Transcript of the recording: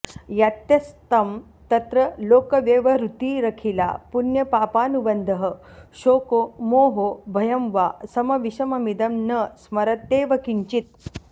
यात्यस्तं तत्र लोकव्यवहृतिरखिला पुण्यपापानुबन्धः शोको मोहो भयं वा समविषममिदं न स्मरत्येव किंचित्